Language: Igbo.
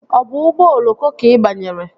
Ọ bụ ụgbọ oloko ka ị banyere?